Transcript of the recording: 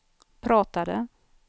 pratade